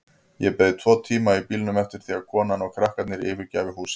Ég beið tvo tíma í bílnum eftir því að konan og krakkarnir yfirgæfu húsið.